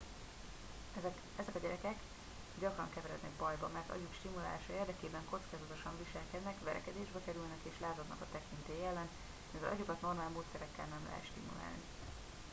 ezek a gyerekek gyakran keverednek bajba mert agyuk stimulálása érdekében kockázatosan viselkednek verekedésbe kerülnek és lázadnak a tekintély ellen mivel agyukat normál módszerekkel nem lehet stimulálni